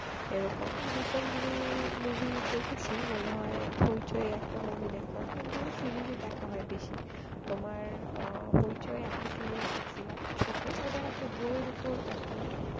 এরকম recently movie দেখেছি মনে হয় হইচই একটা movie দেখলাম কিন্তু series দেখা হয় বেশি তোমার আহ হইচই এ একটা series দেখছিলাম ছোট ওটা একটা বইয়ের উপর আর কি